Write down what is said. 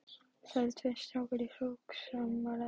Þar eru tveir strákar í hrókasamræðum.